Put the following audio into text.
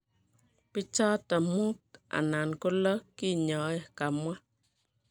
pichaton muut anan ko low kenyae, kamwa